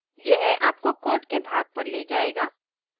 यह आपको code के भाग पर ले जायेगा